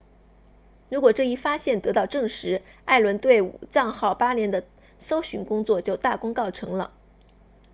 如果这一发现得到证实艾伦对武藏号8年的搜寻工作就大功告成了